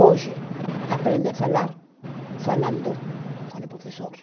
Hoje aprende a falar falando com o professor.